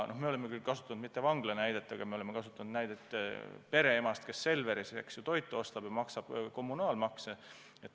Me pole küll kasutanud vangla näidet, aga me oleme kasutanud näidet pereemast, kes Selverist toitu ostab ja kommunaalmakse maksab.